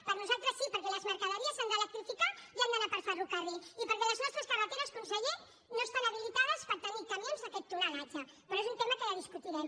per nosaltres sí perquè les mercaderies s’han d’electrificar i han d’anar per ferrocarril i perquè les nostres carreteres conseller no estan habilitades per tenir camions d’aquest tonatge però és un tema que ja discutirem